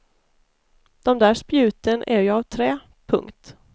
Dom där spjuten är ju av trä. punkt